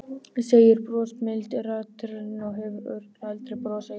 segir brosmildi ritarinn og hefur örugglega aldrei brosað jafnbreitt.